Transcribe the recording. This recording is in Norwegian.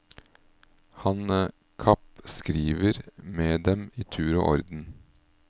Han kappskriver med dem i tur og orden.